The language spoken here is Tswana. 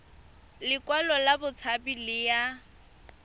lekwalo la botshabi le ya